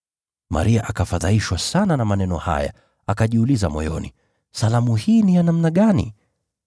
Maria akafadhaishwa sana na maneno haya, akajiuliza moyoni, “Salamu hii ni ya namna gani?”